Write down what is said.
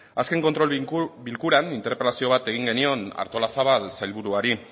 azken kontrol bilkuran interpelazio bat egin genion artolazabal sailburuari